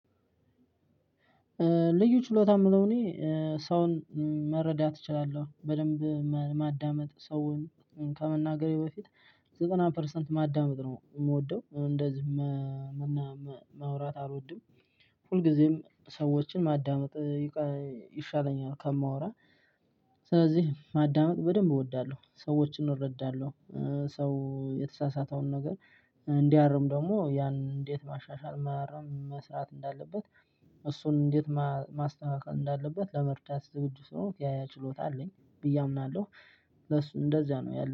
ልዩ ችሎታ የምለው እኔ ሰውን መረዳት እችላለሁ በደንብ ማዳመጥ ሰውን ከመናገሬ በፊት ዘተና ፐርሰንት ማዳመጥ ነው የምወደው እንደዚህ። መውራት አልወድም ሁልጊዜም ሰዎችን ማዳመጥ ይቀለ ይሻለኛል ከማወራ። ስለዚህ ማዳመጥ በደንብ እወዳለሁ ሰዎችን እረዳለሁ። ሰው የተሳሳተውን ነገር እንዲያርም ደግሞ ያን እንዴት ማሻሻል ማረም መስራት እንዳለበት። እሱን እንዴት ማስተካከል እንዳለበት ለመርዳት ዝግጁ ስለሆንኩኝ ያያ ችሎታ አለኝ ብዬ አምናለሁ። ለሱ እንደዚያ ነው ያለኝ